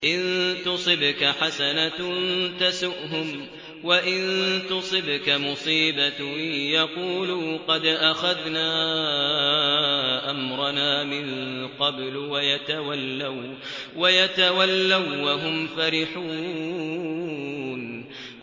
إِن تُصِبْكَ حَسَنَةٌ تَسُؤْهُمْ ۖ وَإِن تُصِبْكَ مُصِيبَةٌ يَقُولُوا قَدْ أَخَذْنَا أَمْرَنَا مِن قَبْلُ وَيَتَوَلَّوا وَّهُمْ فَرِحُونَ